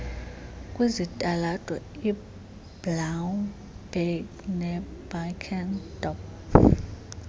kwizitalato iblaauberg nebakenskop